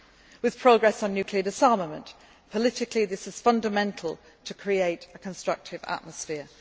with progress on nuclear disarmament politically, this is fundamental to create a constructive atmosphere